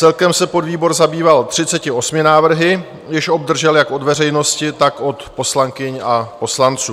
Celkem se podvýbor zabýval 38 návrhy, jež obdržel jak od veřejnosti, tak od poslankyň a poslanců.